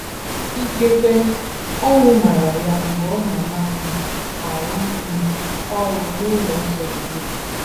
Ikekwe, owu mara ya mgbe ọ nọ na - um arụ um ọrụ n’ụlọ nsọ Jehova.